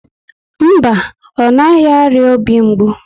Mba, ọ naghị arịa obi mgbu